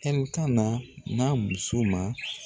Ɛlkana n'a muso ma